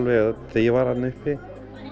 þegar ég var þarna uppi